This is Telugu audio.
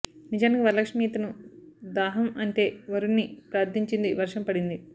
నిజానికి వరలక్ష్మి ఇతను దాహం అంటే వరుణున్ని ప్రార్థించింది వర్షం పడింది